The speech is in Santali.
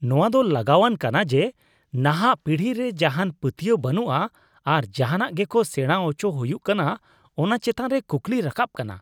ᱱᱚᱶᱟ ᱫᱚ ᱞᱟᱸᱜᱟᱣᱟᱱ ᱠᱟᱱᱟ ᱡᱮ ᱱᱟᱦᱟᱜ ᱯᱤᱲᱦᱤ ᱨᱮ ᱡᱟᱦᱟᱱ ᱯᱟᱹᱛᱭᱟᱹᱣ ᱵᱟᱹᱱᱩᱜᱼᱟ ᱟᱨ ᱡᱟᱦᱟᱱᱟᱜ ᱜᱮᱠᱚ ᱥᱮᱬᱟ ᱟᱪᱚ ᱦᱩᱭᱩᱜ ᱠᱟᱱᱟ ᱚᱱᱟ ᱪᱮᱛᱟᱱ ᱨᱮ ᱠᱩᱠᱞᱤ ᱨᱟᱠᱟᱵ ᱠᱟᱱᱟ ᱾